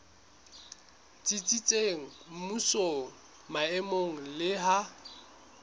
tsitsitseng mmusong maemong le ha